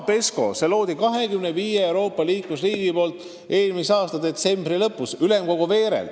Võtame sellesama PESCO, mille lõid 25 Euroopa Liidu liikmesriiki eelmise aasta detsembri lõpus.